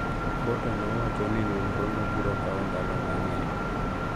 Potter nowacho ni nonrono biro kawo ndalo mang’eny.